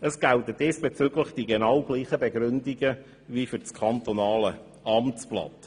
Es gelten diesbezüglich genau dieselben Begründungen wie für das Kantonale Amtsblatt.